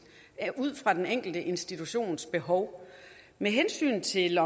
ud fra den enkelte institutions behov med hensyn til